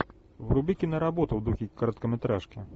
вруби киноработу в духе короткометражки